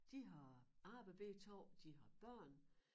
De har arbejde begge 2 de har børn